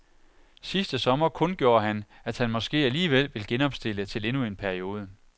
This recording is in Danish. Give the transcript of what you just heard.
Sidste sommer kundgjorde han, at han måske alligevel vil genopstille til endnu en periode.